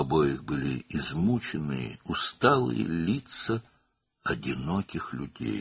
Hər ikisinin yorğun, yorulmuş tənha insanların üzləri vardı.